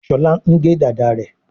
Shola ngè Dàda rẹ.